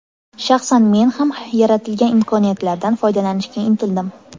Shaxsan men ham yaratilgan imkoniyatlardan foydalanishga intildim.